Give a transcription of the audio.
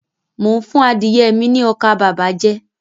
Mo n fún adìye mi ní ọkà bàbà jẹ